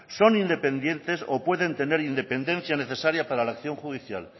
son independientes o pueden tener independencia necesaria para acción judicial